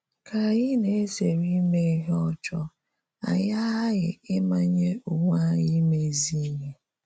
Ka anyị na - ezere ime ihe ọjọọ, anyị aghaghị ịmanye onwe anyị ime ezi ihe.